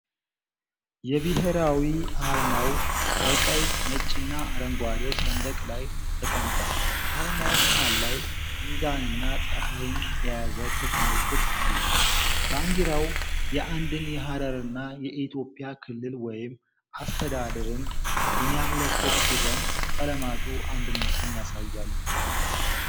የብሄራዊ አርማው በቀይ፣ ነጭና አረንጓዴ ሰንደቅ ላይ ተቀምጧል። አርማው መሃል ላይ ሚዛንና ፀሐይን የያዘ ክብ ምልክት አለው። ባንዲራው የአንድን የሀረርን የኢትዮጵያ ክልል ወይም አስተዳደርን የሚያመለክት ሲሆን፣ ቀለማቱ አንድነትን ያሳያሉ።